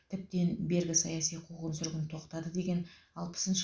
тіптен бергі саяси құғын сүргін тоқтады деген алпысыншы